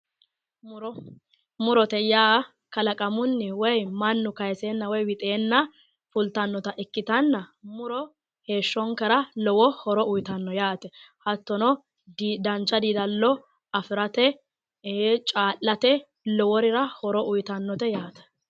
muro murote yaa kalaqamunni woyi mannu looseenna woyi wixeenna fultannota ikkitanna muro heeshshonkera lowo horo uyitanno yaate hattono dancha diilallo afirate caa'late lowo horo uyitannote yaate.